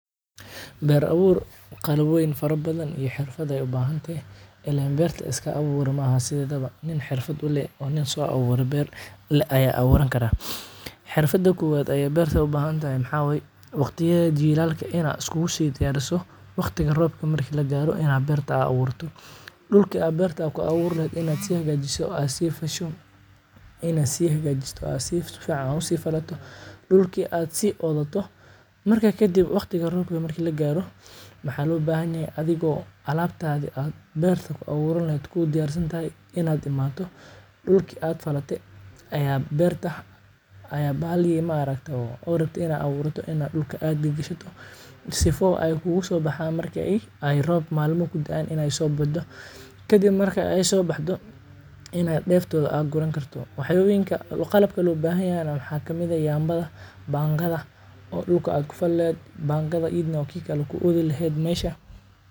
Beer abuur qara wayn fara badan iyo xikmad ayay u bahantahy ileen beerta iska abuura maaha sideedaba nin xirfad u leh oo nin so abuure beer leh aya abuuran kara. Xirfada koowad ay beerta u bahantahy maxaa waye waqtiyada jiilalaka ina iskugu si diyaariso waqtiga roobka marki lagaro ina aa beerta aa abuurto. Dhulki aa beerta aa ku abuuri lahayd ina aad si hagaajiso aa sii fasho ina aa si hagajisato aa si fasho si fican aa u si falato dhulki aa si oodato marka kadib robka marki lagaro mxa loo bahayahay adigo oo alabtaadi beerta ku abuuran lahayd ku diyarsantahy inaad imaato dhuki aad falate ayad beerta aya bahali ma aragta oo rabte inaa abuurato ina dhulka aa gigishato sifa ooy kugu so baxaan marki ay roob malma ku daan inay so bido kadib marka ay so baxdo ina deeftooda aa guran karto waxyaaboyinka qalabka loo bahanyahy waxaa kamid ah yambada bangada oo dhulka aa ku fali lahayd bangada iyadana oo ki kale ku oodi laheed mesha.